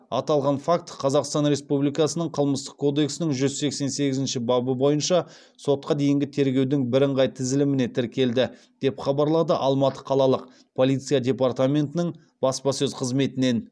аталған факті қазақстан республикасының қылмыстық кодексінің жүз сексен сегізінші бабы бойынша сотқа дейінгі тергеудің бірыңғай тізіліміне тіркелді деп хабарлады алматы қалалық полиция департаментінің баспасөз қызметінен